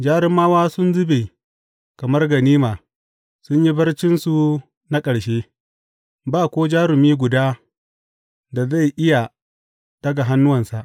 Jarumawa sun zube kamar ganima sun yi barcinsu na ƙarshe; ba ko jarumi guda da zai iya ɗaga hannuwansa.